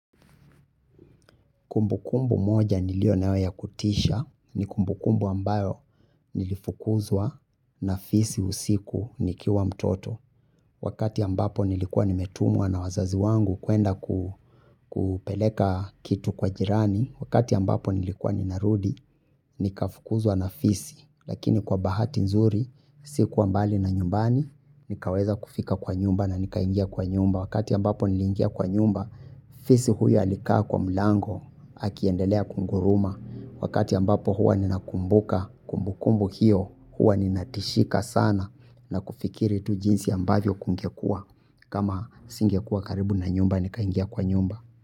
Kumbukumbu moja nilio nayo ya kutisha ni kumbukumbu ambayo nilifukuzwa na fisi usiku nikiwa mtoto. Wakati ambapo nilikuwa nimetumwa na wazazi wangu kuenda kupeleka kitu kwa jirani, wakati ambapo nilikuwa ninarudi, nika fukuzwa na fisi. Lakini kwa bahati nzuri, sikuwa mbali na nyumbani, nikaweza kufika kwa nyumba na nikaingia kwa nyumba. Wakati ambapo nili ingia kwa nyumba. Fisi huyo alikaa kwa mlango akiendelea kuguruma wakati ambapo huwa ni nakumbuka kumbukumbu hiyo huwa nina tishika sana na kufikiri tu jinsi ambavyo kungekuwa kama singekua karibu na nyumba ni kaingia kwa nyumba.